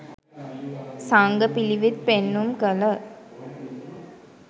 සංඝ පිළිවෙත් පෙන්නුම් කළ